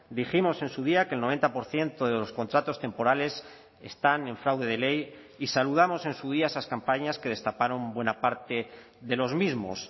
dijimos en su día que el noventa por ciento de los contratos temporales están en fraude de ley y saludamos en su día esas campañas que destaparon buena parte de los mismos